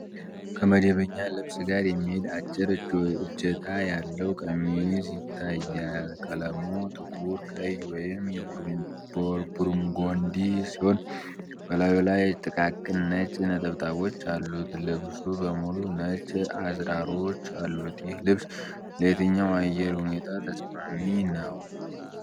ከመደበኛ ልብስ ጋር የሚሄድ አጭር እጀታ ያለው ቀሚስ ይታያል። ቀለሙ ጥቁር ቀይ ወይም የቡርጎንዲ ሲሆን በላዩ ላይ ጥቃቅን ነጭ ነጠብጣቦች አሉት። ልብሱ በሙሉ ነጭ አዝራሮች አሉት። ይህ ልብስ ለየትኛው አየር ሁኔታ ተስማሚ ነው?